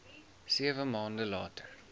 sewe maande later